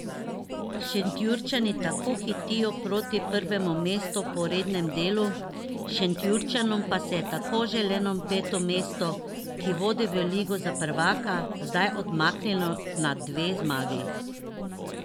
Šentjurčani tako hitijo proti prvemu mestu po rednem delu, Šenčurjanom pa se je tako želeno peto mesto, ki vodi v ligo za prvaka, zdaj odmaknilo na dve zmagi.